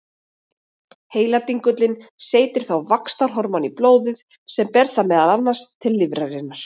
Heiladingullinn seytir þá vaxtarhormóni í blóðið sem ber það meðal annars til lifrarinnar.